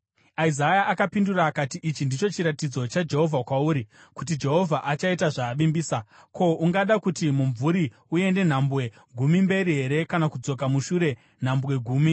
Isaya akapindura akati, “Ichi ndicho chiratidzo chaJehovha kwauri kuti Jehovha achaita zvaavimbisa: Ko, ungada kuti mumvuri uende nhambwe gumi mberi here kana kudzoka mushure nhambwe gumi?”